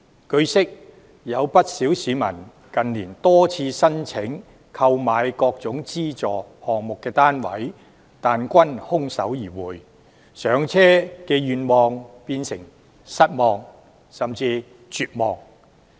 據悉，有不少市民近年多次申請購買各個資助項目的單位但均空手而回，上車願望變成失望甚至絕望。